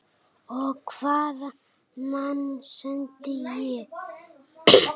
Og hvaða menn sendi ég?